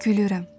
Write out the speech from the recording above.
Gülürəm.